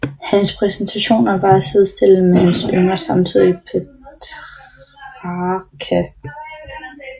Hans præstationer var at sidestille med hans yngre samtidige Petrarca